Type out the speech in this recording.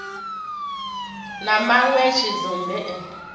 na manwe a tshidzumbe e